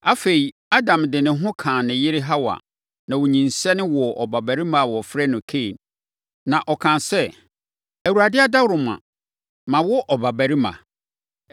Afei, Adam de ne ho kaa ne yere Hawa ma ɔnyinsɛne woo abarimaa a wɔfrɛ no Kain. Na ɔkaa sɛ, Awurade adaworoma, mawo ɔbabarima.